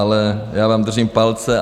Ale já vám držím palce.